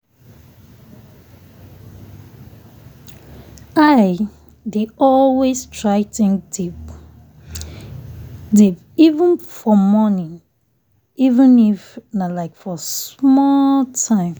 i dey always try think deep deep for morning even if nah like for small time